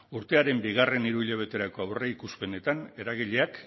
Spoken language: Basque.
urtearen bigarren hiruhilabeterako aurreikuspenetan eragileak